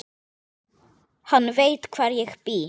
Hann veit hvar ég bý.